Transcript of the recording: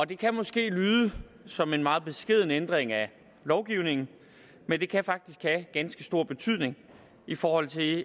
det kan måske lyde som en meget beskeden ændring af lovgivningen men det kan faktisk have ganske stor betydning i forhold til